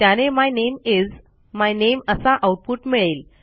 त्याने my name is my name असा output मिळेल